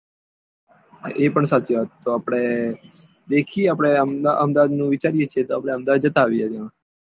એ પણ સાચી વાત તો આપડે દેખિયે આપડે આમ અહેમદાબાદ નું વિચાર્યે છીએ તો આપડે અહેમદાબાદ જતા આવીએ ત્યાં